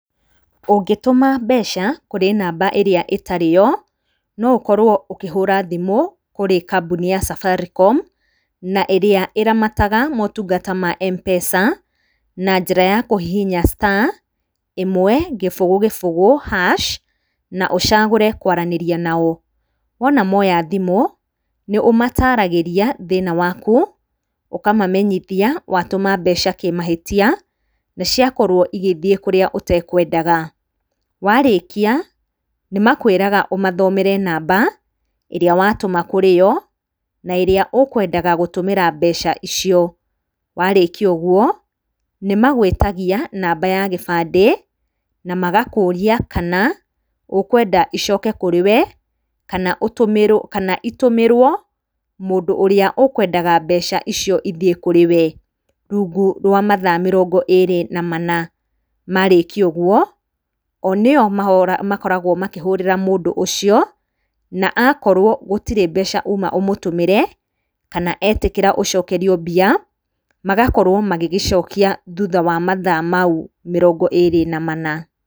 Ũngĩtũma mbeca kũrĩ namba ĩrĩa ĩtarĩ yo, no ũkorwo ũkĩhũra thimũ kũrĩ kambuni ya Safaricom na ĩrĩa ĩramataga motungata ma M-Pesa, na njĩra ya kũhihinya star ĩmwe, gĩbũgũ, gĩbũgũ hash na ũcagũre kũranĩria nao. Wona moya thimũ, nĩ ũmataragĩria thĩna waku, ũkamamenyithia watũma mbeca kũmahĩtia, na ciakorwo igĩthiĩ kũrĩa ũtekũendaga, warĩkia nĩ makwĩraga ũmathomere namba ĩrĩa watũma kũrĩ yo, na ĩrĩa ũkwendaga gũtũmĩra mbeca icio, warĩkia ũguo, ni magũĩtagia namba ya gĩbandĩ, na magakũria kama ũkwenda icoke kũrĩ we, kana itũmĩrwo mũndũ ũrĩa ũkwendaga mbeca icio ithiĩ kũrĩ we rungu rwa mathaa mĩrongo ĩrĩ na mana. Marĩkia ũguo o nĩ o makoragwo makĩhũrĩra mũndũ ũcio na akorwo gũtirĩ mbeca uma ũmũtũmĩre kana etĩkĩra ũcokerio mbia, magakorwo magĩgĩcokia thutha wa mathaa mau mĩrongo ĩrĩ na mana.